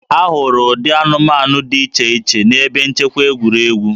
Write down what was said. A hụrụ ụdị anụmanụ dị iche iche n'ebe nchekwa egwuregwu